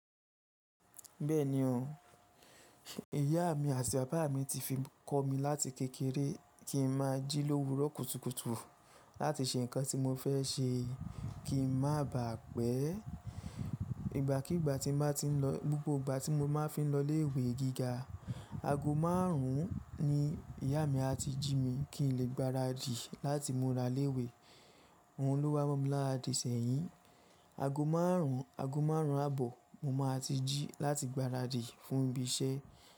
Bẹ́ẹ̀ni o, ìyá mi àti bàbá mi ti fi ń kọ́ mi láti kékeré kí n máa jí lówu rọ̀kútùkù láti ṣe nǹkan tí mo fẹ́ ṣe kí n má bà pẹ́. Ìgbàkígbà tí mo bá ti ń lọ, gbogbo ìgbà tí mo bá fi ń lọ ilé ìwé gíga, ago márùn-ún ni ìyá mi a ti jí mi kí n lè gbáradì láti múra léwe. Òun ló wá má mi láti ìṣẹ̀yìn. Ago márùn-ún, ago márùn-ún àbọ̀ mo máa ti jí láti gbáradì fún ibi iṣẹ́